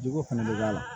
Jogo fɛnɛ bɛ k'a la